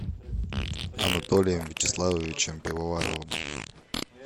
анатолием вячеславовичем пивоваровым